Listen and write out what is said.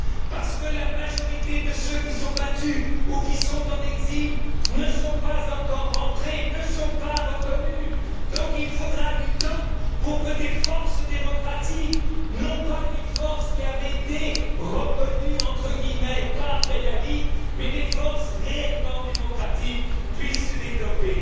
Parce que la majorité de ceux qui se sont battus ou de ceux qui sont en exil ne sont pas encore rentrés, ne sont pas reconnus, donc il faudra du temps pour que des forces démocratiques non pas des forces qui avaient été reconnues par Ben Ali mais des forces réellement démocratiques, puissent se développer.